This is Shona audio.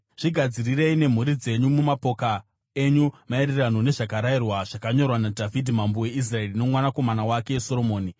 Zvigadzirirei nemhuri dzenyu mumapoka enyu, maererano nezvakarayirwa zvakanyorwa naDhavhidhi mambo weIsraeri nomwanakomana wake Soromoni.